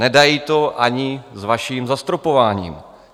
Nedají to ani s vaším zastropováním.